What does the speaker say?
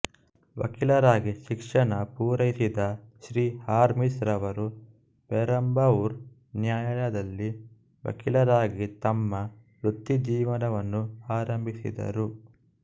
ವಕೀಲರಾಗಿ ಶಿಕ್ಷಣ ಪೂರೈಸಿದ ಶ್ರೀ ಹಾರ್ಮಿಸ್ ರವರು ಪೆರುಂಬಾವೂರ್ ನ್ಯಾಯಾಲಯದಲ್ಲಿ ವಕೀಲರಾಗಿ ತಮ್ಮ ವೃತ್ತಿಜೀವನವನ್ನು ಆರಂಭಿಸಿದರು